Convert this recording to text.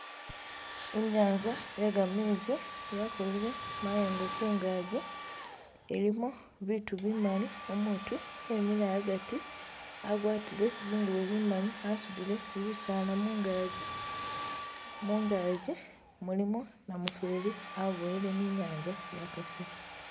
I'nyanza ye gameezi yakolele mayengo ku'ngaji ilimo bitu bimali, umutu emile a'gati agwatile zingubo zimali asudile lusaala mungaji, mungaji mulimo namufeli abowele bi nyanza yakasile